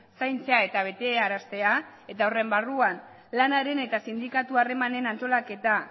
zaintzea eta betearaztea eta horren barruan lanaren eta sindikatu harremanen antolaketa